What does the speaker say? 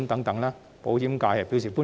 對此，保險界表示歡迎。